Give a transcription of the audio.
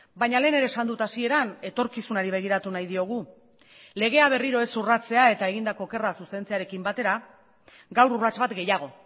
baina lehen ere esan dut hasieran etorkizunari begiratu nahi diogu legea berriro ez urratzea eta egindako okerra zuzentzearekin batera gaur urrats bat gehiago